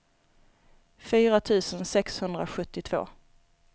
fyra tusen sexhundrasjuttiotvå